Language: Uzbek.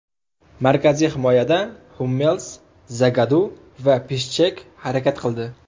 Markaziy himoyada Hummels, Zagadu va Pishchek harakat qildi.